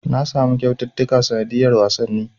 Na samu kyaututtuka sanadiyar wasanni.